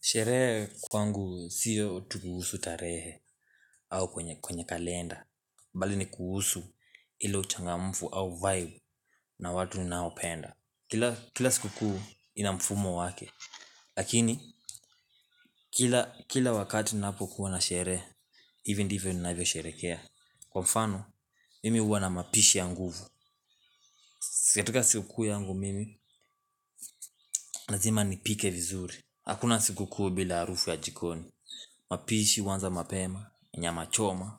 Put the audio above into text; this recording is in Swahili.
Sherehe kwangu siyo tu kuhusu tarehe au kwenye kalenda mbali ni kuhusu ile uchangamfu au vibe na watu ninaopenda Kila siku kuu ina mfumo wake Lakini kila wakati ninapo kuwa na sherehee hivi ndivyo nina vyo sherehekea Kwa mfano mimi huwa na mapishi ya nguvu katika siku kuu yangu mimi lazima nipike vizuri Hakuna siku kuu bila harufu ya jikoni mapishi huanza mapema, nyama choma,